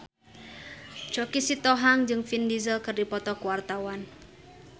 Choky Sitohang jeung Vin Diesel keur dipoto ku wartawan